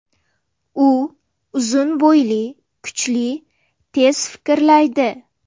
U uzun bo‘yli, kuchli, tez fikrlaydi.